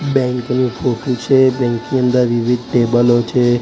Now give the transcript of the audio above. Bank ની photo છે bank ની અંદર વિવિધ ટેબલો છે.